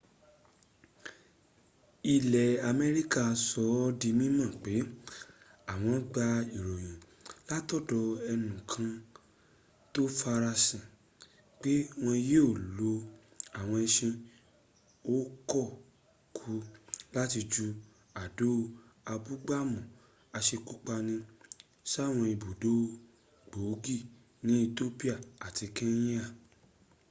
ilẹ̀ america sọ ọ́ di mímọ̀ pé àwọn gba ìròyìn látọ̀dọ̀ ẹnùkan tó farasin pé wọ́n yío lo àwọn ẹṣin ò kọ kú láti ju àdó abúgbàmù asekúpani sáwọn ibùdó gbòógì ní ethiopia àti kenya